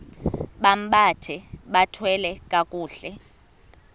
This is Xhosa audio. bambathe bathwale kakuhle